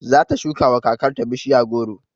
Zata shukawa kakar ta bishiya goro